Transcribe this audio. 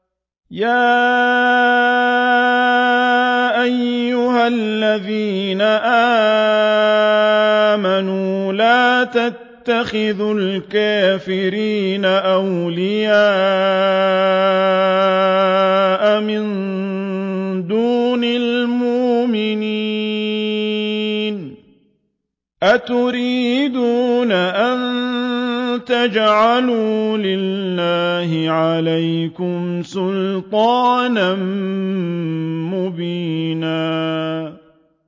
يَا أَيُّهَا الَّذِينَ آمَنُوا لَا تَتَّخِذُوا الْكَافِرِينَ أَوْلِيَاءَ مِن دُونِ الْمُؤْمِنِينَ ۚ أَتُرِيدُونَ أَن تَجْعَلُوا لِلَّهِ عَلَيْكُمْ سُلْطَانًا مُّبِينًا